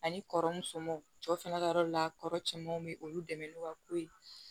Ani kɔrɔmusominw cɛ fana ka yɔrɔ la kɔrɔ cɛmanw bɛ olu dɛmɛ n'u ka ko ye